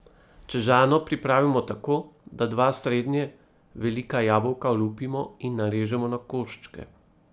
Čežano pripravimo tako, da dva srednje velika jabolka olupimo in narežemo na koščke.